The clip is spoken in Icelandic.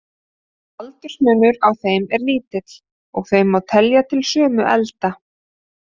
Aldursmunur á þeim er lítill, og þau má telja til sömu elda.